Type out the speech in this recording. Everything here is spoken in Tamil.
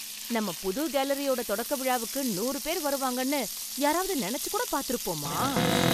நம்ம புது கேலரியோட தொடக்க விழாவுக்கு நூறு பேர் வருவாங்கன்னு யாராவது நினைச்சு கூட பார்த்திருப்போமா?